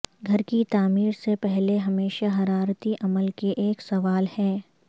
گھر کی تعمیر سے پہلے ہمیشہ حرارتی عمل کے ایک سوال ہے